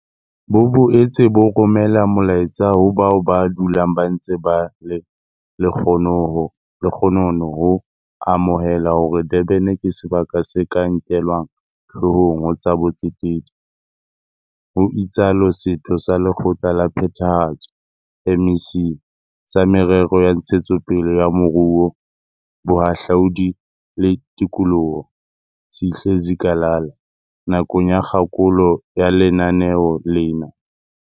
Bo boetse bo romela molaetsa ho bao ba dulang ba ntse ba le lekgonono ho amohela hore Durban ke sebaka se ka nkelwang hloohong ho tsa botsetedi, ho itsalo Setho sa Lekgotla la Phethahatso MEC sa Merero ya Ntshetsopele ya Moruo, Bohahlaudi le Tikoloho, Sihle Zikalala nakong ya kgakolo ya lenaneo lena.